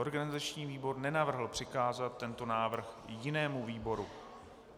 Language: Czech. Organizační výbor nenavrhl přikázat tento návrh jinému výboru.